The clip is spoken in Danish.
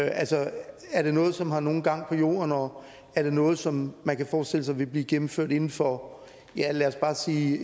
altså er det noget som har nogen gang på jorden og er det noget som man kan forestille sig vil blive gennemført inden for lad os bare sige